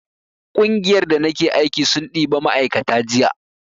ƙungiyar da nake aiki sun ɗiba ma'aikata jiya